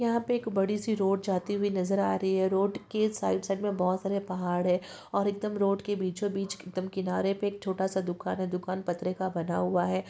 यहाँ पे एक बड़ी सी रोड जाती हुई नजर आ रही है रोड के साईड-साईड में बहोत सारे पहाड़ हैं और एक दम रोड के बीचो बिच एक दम किनारे पे छोटा सा दुकान है दुकान पतरे का बना हुआ है ।